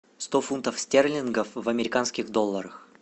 сто фунтов стерлингов в американских долларах